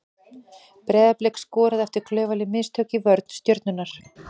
Breiðablik skoraði eftir klaufaleg mistök í vörn Stjörnunnar.